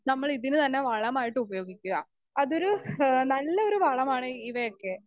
Speaker 2 നമ്മളിതിന് തന്നെ വളമായിട്ട് ഉപയോഗിക്കുക അതൊരു ഹ് നല്ലൊരു വളമാണ് ഇവയൊക്കെ.